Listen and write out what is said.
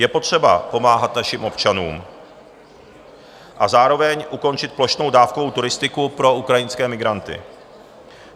Je potřeba pomáhat našim občanům a zároveň ukončit plošnou dávkovou turistiku pro ukrajinské migranty.